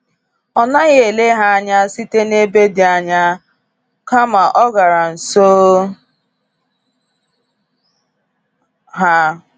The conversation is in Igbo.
Ọ naghị ele ha anya site n’ebe dị anya, kama ọ gara nso ha.